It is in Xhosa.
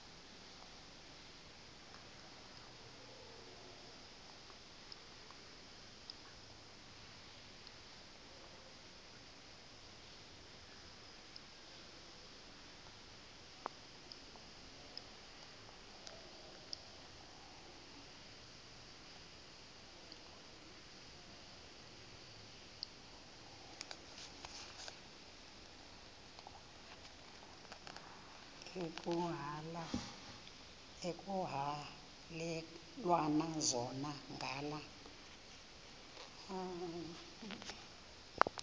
ekuhhalelwana zona ngala